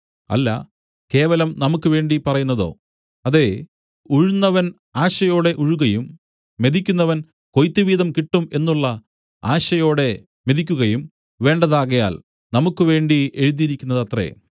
അല്ല കേവലം നമുക്ക് വേണ്ടി പറയുന്നതോ അതേ ഉഴുന്നവൻ ആശയോടെ ഉഴുകയും മെതിക്കുന്നവൻ കൊയ്ത്തുവീതം കിട്ടും എന്നുള്ള ആശയോടെ മെതിക്കുകയും വേണ്ടതാകയാൽ നമുക്ക് വേണ്ടി എഴുതിയിരിക്കുന്നതത്രെ